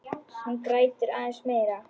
Hún grætur aðeins meira.